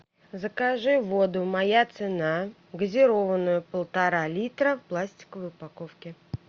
закажи воду моя цена газированную полтора литра в пластиковой упаковке